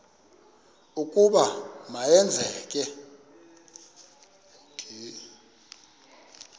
ukuba ma yenzeke